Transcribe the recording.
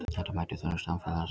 Þetta mætir þörfum samfélagsins